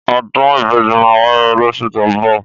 Ọdún ìbejí mà wàyé lòsú tọ mbọ